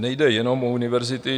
Nejde jenom o univerzity.